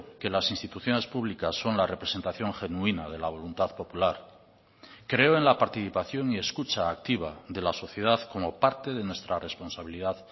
que las instituciones públicas son la representación genuina de la voluntad popular creo en la participación y escucha activa de la sociedad como parte de nuestra responsabilidad